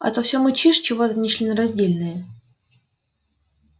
а то всё мычишь чего-то нечленораздельное